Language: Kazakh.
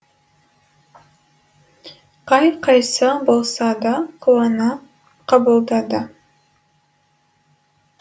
қай қайсы болса да қуана қабылдады